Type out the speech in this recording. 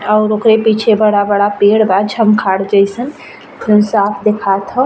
और ओकरे पीछे बड़ा-बड़ा पेड़ बा झंखाड़ जईसन। साफ दिखात ह।